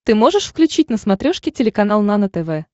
ты можешь включить на смотрешке телеканал нано тв